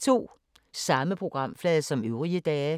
Samme programflade som øvrige dage